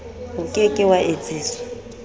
o ke ke wa etsiswa